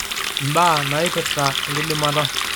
Imbaa naipirta enkidimata